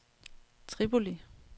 Tripoli